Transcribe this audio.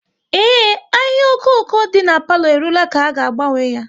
Ee, ahịhịa okoko dị n'palo e ruola ka a ga agbanwe ya